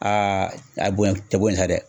Aa a bonyan te bon ye sa dɛ